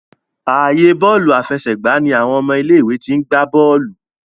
ààyè Bọ́ọ̀lù àfẹsẹ̀gbá ní àwọn ọmọ ilé ìwé t'in gbà bóòlù.